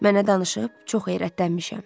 Mənə danışıb, çox heyrətlənmişəm.